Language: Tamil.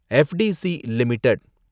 FDC limited